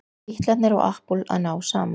Bítlarnir og Apple að ná saman